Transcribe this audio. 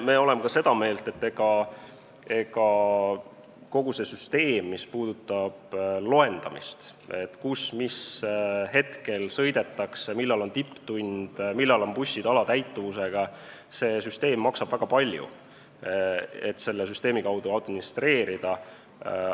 Me oleme ka seda meelt, et kogu see süsteem, mis puudutab loendamist, et kus ja mis hetkel sõidetakse, millal on tipptund, millal on bussid alatäituvusega, maksab väga palju, kui selle kaudu administreerida.